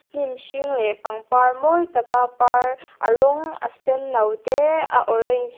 hnim hring leh pangpar mawi taka par a rawng a senno te a orange--